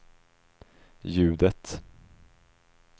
ljudet